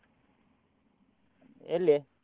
ಎಲ್ಲಿ?